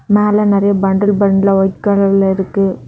மேல நெறைய பண்டல் பண்டலா வொய்ட் கலர்ல இருக்கு.